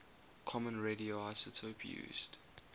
common radioisotope used